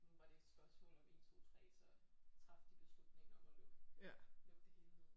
Nu var det et spørgsmål om 1 2 3 så traf de beslutningen om at lukke lukke det hele ned